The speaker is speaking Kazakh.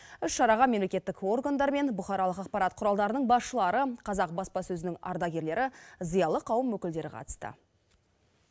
іс шараға мемлекеттік органдар мен бұқаралық ақпарат құралдарының басшылары қазақ баспасөзінің ардагерлері зиялы қауым өкілдері қатысты